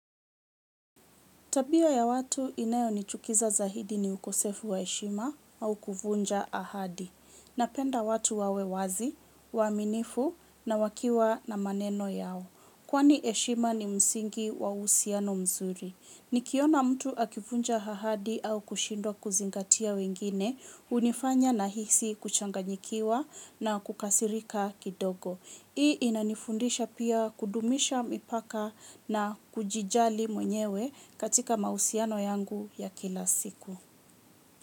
Tabia ya watu inayonichukiza zaidi ni ukosefu wa heshima au kuvunja ahadi. Napenda watu wawe wazi, waaminifu na wakiwa na maneno yao. Kwani heshima ni msingi wa uhusiano mzuri. Nikiona mtu akivunja ahadi au kushindwa kuzingatia wengine, hunifanya nahisi kuchanganyikiwa na kukasirika kidogo. Hii inanifundisha pia kudumisha mipaka na kujijali mwenyewe katika mahusiano yangu ya kila siku.